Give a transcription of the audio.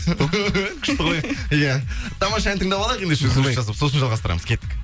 күшті ғой иә тамаша ән тыңдап алайық ендеше үзіліс жасап сосын жалғастырамыз кеттік